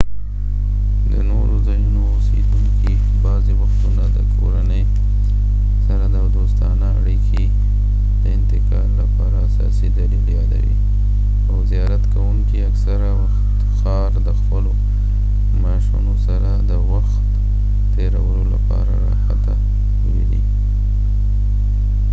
د نورو ځایونو اوسیدونکي بعضې وختونه د کورنۍ سره دوستانه اړیکې د انتقال لپاره اساسي دلیل یادوي او زیارت کوونکي اکثره وخت ښار د خپلو ماشونو سره د وخت تیرولو لپاره راحته ویني